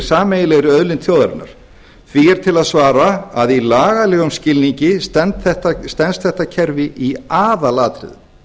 sameiginlegri auðlind þjóðarinnar því er til að svara að í lagalegum skilningi stenst þetta kerfi í aðalatriðum